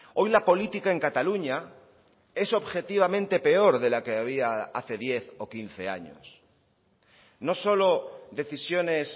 hoy la política en cataluña es objetivamente peor de la que había hace diez o quince años no solo decisiones